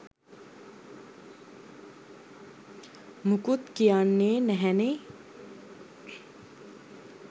මුකුත් කියන්නේ නැහැනේ?